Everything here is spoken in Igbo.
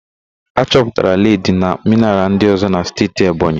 A chọpụtara ledi na mịnaral ndịọ̀zọ́ n'Steeti Ebonyi